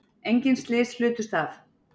Engin slys hlutust af